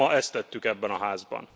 Ma ezt tettük ebben a Házban.